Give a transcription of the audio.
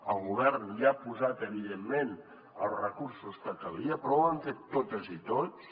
el govern hi ha posat evidentment els recursos que calia però ho hem fet totes i tots